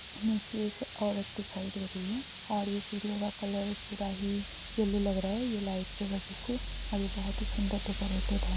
नीचे एक औरत दिखाई दे रही है और ये सीढ़ियों का कलर पूरा ही येल्लो लग रहा है ये लाइट के वजह से और यह बोहोत ही सुंदर डेकोरटेड है ।